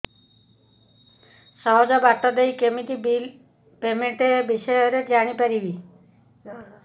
ସହଜ ବାଟ ରେ କେମିତି ବିଲ୍ ପେମେଣ୍ଟ ବିଷୟ ରେ ଜାଣି ପାରିବି